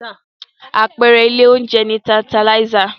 Àpẹẹrẹ ilé oúnjẹ ni Tantalizer.